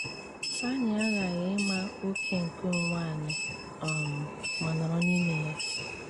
Anyị aghaghị ịma oke nke onwe anyị um ma nọrọ n'ime ya.